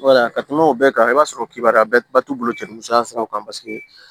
ka kuma o bɛɛ kan i b'a sɔrɔ kibaruya bɛɛ ba t'u bolo cɛ ni musoya siraw kan paseke